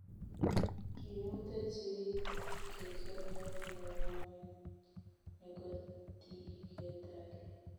Kimuteech sigik kegeer koot nengway nogotigetare